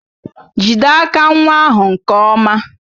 Jide aka nwa ahụ nke ọma!